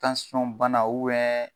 bana